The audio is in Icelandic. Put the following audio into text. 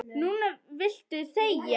Núna viltu þegja.